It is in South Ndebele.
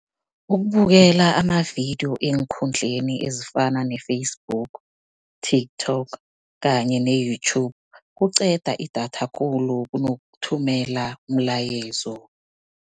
Ukubukela amavidiyo eenkundleni ezifana ne-Facebook, TikTok kanye ne-YouTube, kuqeda idatha khulu kunokuthumela umlayezo.